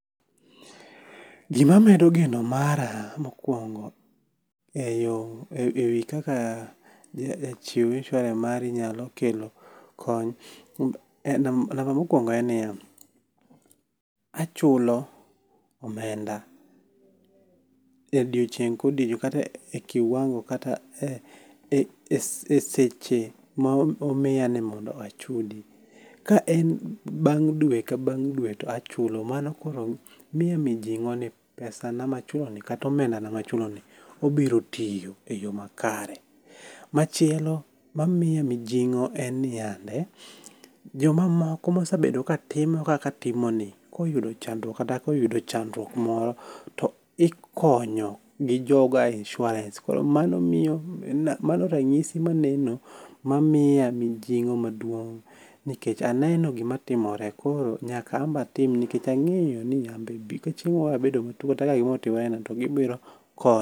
Gimamedo geno mara mokwongo e wi kaka jachiw insurance mari nyalo kelo kony ,namba mokwongo en ni ya, achulo omenda e odieching' kodiochieng' kata e kiwango kata e seche momiya nimondo achudi. Ka en bang' dwe ka bang' dwe to achulo, mano koro miya mijing'o ni pesana machuloni kata omendana machuloni obiro tiyo e yo makare. Machielo mamiya mijing'o en niyande, jomamoko mosabedo katimo kaka atimoni, koyudo chandruok kata koyudo chandruok moro to ikonyo gi joga insurance koro mano ranyisi maneno, mamiya mijing'o maduong' nikech aneno gimatimore. Koro nyaka an be atim nikech ang'eyo ni ya anbe ,be ka chieng' moro abedo matuwo kata ka gimoro otimorena, to gibiro konya.